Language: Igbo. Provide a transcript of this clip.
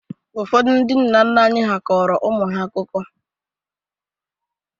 Ụfọdụ ndị nna nna anyị kọrọ ụmụ ha akụkọ.